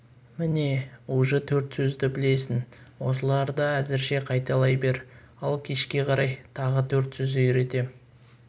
міне уже төрт сөзді білесің осыларды әзірше қайталай бер ал кешке қарай тағы төрт сөз үйретем